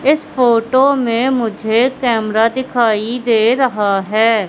इस फोटो में मुझे कैमरा दिखाई दे रहा है।